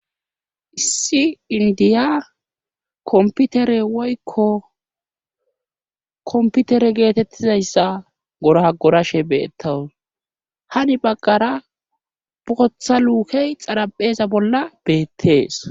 Issi indiya komputere woykko komputere geetettizayssa gorah gorashe beettawus hani baggara bootha luukey xarapheeza bolla beettees